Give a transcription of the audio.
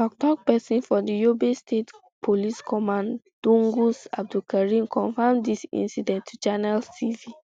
toktok pesin of di yobe state police command dungus abdulkarim confam dis incident to channels